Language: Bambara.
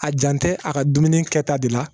A jan tɛ a ka dumuni kɛta de la